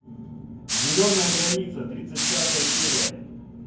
зеленая граница тридцать пятая серия